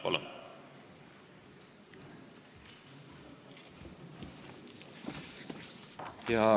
Palun!